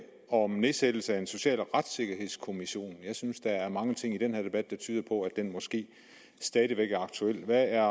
om nedsættelse af en social retssikkerhedskommission jeg synes der er mange ting i denne debat der tyder på at den måske stadig væk er aktuel hvad er